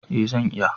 Eh zan iya.